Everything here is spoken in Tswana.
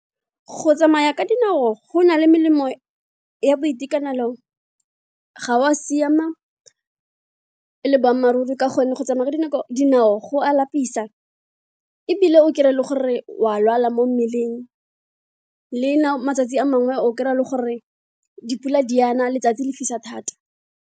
Go tsamaya ka dinao go na le melemo ya boitekanelo ga o a siama le boammaaruri ka gonne go tsamaya ka dinao go a lapisa ebile o kry-e le gore wa lwala mo mmeleng le matsatsi a mangwe o kry-a le gore dipula di a na letsatsi le fisa thata.